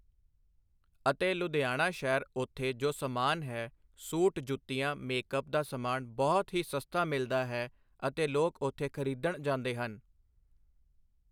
ਅਤੇ ਲੁਧਿਆਣਾ ਸ਼ਹਿਰ ਉੱਥੇ ਜੋ ਸਮਾਨ ਹੈ ਸੂਟ ਜੁੱਤੀਆਂ ਮੇਕਅਪ ਦਾ ਸਮਾਨ ਬਹੁਤ ਹੀ ਸਸਤਾ ਮਿਲਦਾ ਹੈ ਅਤੇ ਲੋਕ ਉੱਥੇ ਖਰੀਦਣ ਜਾਂਦੇ ਹਨ।